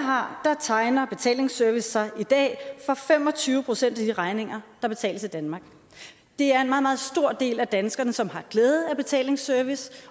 har tegner betalingsservice sig i dag for fem og tyve procent af de regninger der betales i danmark det er en meget meget stor del af danskerne som har glæde af betalingsservice